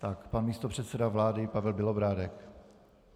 Ano, pan místopředseda vlády Pavel Bělobrádek.